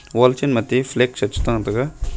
wall che mate flag cha da taiga.